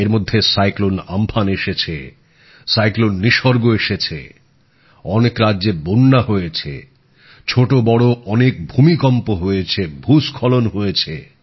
এর মধ্যে ঘূর্ণিঝড় আম্ফান এসেছে ঘূর্ণিঝড় নিসর্গ এসেছে অনেক রাজ্যে বন্যা হয়েছে ছোট বড় অনেক ভূমিকম্প হয়েছে ভূস্খলন হয়েছে